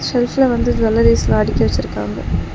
செல்ஃப்ல வந்து ஜூவல்லரீஸ்லா அடுக்கி வெச்சிருக்காங்க.